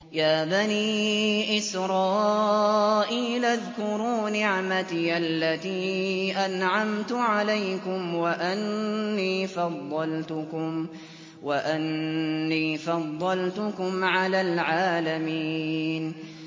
يَا بَنِي إِسْرَائِيلَ اذْكُرُوا نِعْمَتِيَ الَّتِي أَنْعَمْتُ عَلَيْكُمْ وَأَنِّي فَضَّلْتُكُمْ عَلَى الْعَالَمِينَ